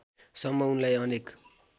सम्म उनलाई अनेक